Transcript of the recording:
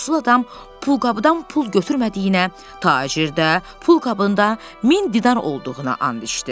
Yoxsul adam pulqabıdan pul götürmədiyinə, tacir də pulqabında 1000 dinar olduğuna and içdi.